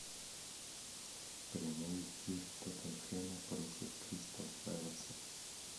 прямой эфир тоттенхэма против кристал пэласа